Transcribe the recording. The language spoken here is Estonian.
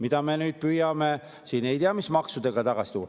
Ja seda me püüame nüüd ei tea mis maksudega tagasi tuua.